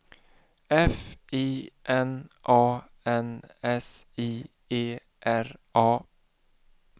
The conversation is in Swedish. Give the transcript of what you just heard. F I N A N S I E R A